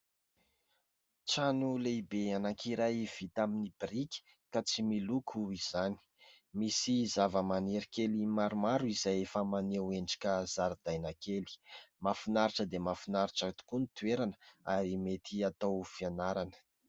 Trano lehibe anankiray vita amin' ny biriky ka tsy miloko izany. Misy zava-maniry kely maromaro izay efa maneho endrika zaridaina kely. Mahafinaritra dia mahafinaritra tokoa ny toerana ary mety hatao fianarana.